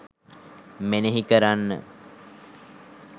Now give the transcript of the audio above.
මෙනෙහි කරන්න.